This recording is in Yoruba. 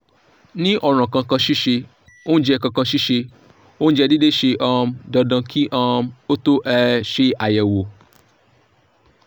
ni oran kankansise ounje kankansise ounje deede se um dandan ki um o to um se ayewo